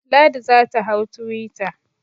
Ladi za ta hau twitter.